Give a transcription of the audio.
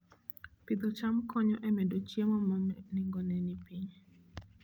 Pidho cham konyo e medo chiemo ma nengone ni piny